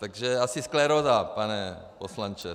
Takže asi skleróza, pane poslanče.